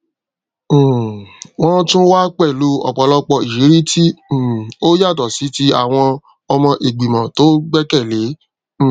um wọn tún wá pẹlú òpòlọpò ìrírí tí um ó yàtọ sí ti àwọn ọmọ ìgbìmọ tó gbẹkẹlé um